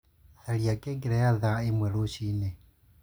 Tharĩa ngengere ya thaa ĩmwe rũcĩĩnĩ